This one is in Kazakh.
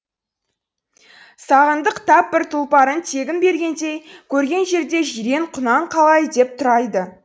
сағындық тап бір тұлпарын тегін бергендей көрген жерде жирен құнан қалай деп